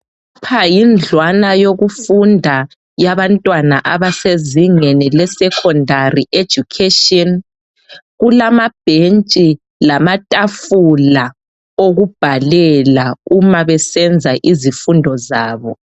Lapha yindlwana yokufunda yabantwana abasezingeni le secondary education. Kulamabhentshi lamatafula okubhalela uma besenza izifundo zabo.